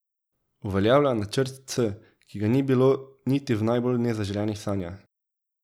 Uveljavlja načrt C, ki ga ni bilo niti v najbolj nezaželenih sanjah.